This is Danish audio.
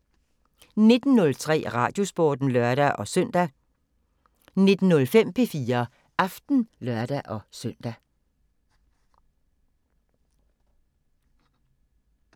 19:03: Radiosporten (lør-søn) 19:05: P4 Aften (lør-søn)